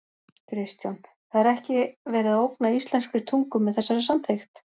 Kristján: Það er ekki verið að ógna íslenskri tungu með þessari samþykkt?